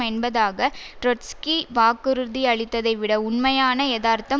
என்பதாக ட்ரொட்ஸ்கி வாக்குறுதியளித்ததை விட உண்மையான எதார்த்தம்